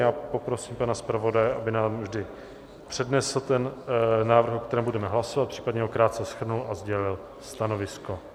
Já poprosím pana zpravodaje, aby nám vždy přednesl ten návrh, o kterém budeme hlasovat, případně ho krátce shrnul a sdělil stanovisko.